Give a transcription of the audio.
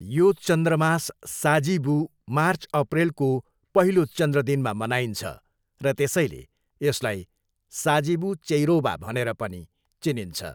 यो चन्द्रमास साजिबू मार्च, अप्रेलको पहिलो चन्द्र दिनमा मनाइन्छ र त्यसैले यसलाई साजिबू चेइरोबा भनेर पनि चिनिन्छ।